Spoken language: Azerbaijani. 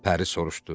Pəri soruşdu.